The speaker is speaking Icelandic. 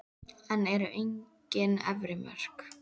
En eru engin efri mörk?